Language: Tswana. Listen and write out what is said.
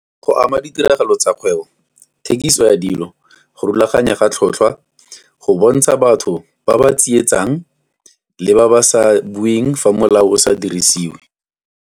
Go ama ditiragalo tsa bokgwebo, thekiso ya dilo, go rulaganya ga tlhotlhwa, go bontsha batho ba ba tsietsang le ba ba sa bueng fa molao o sa dirisiwe.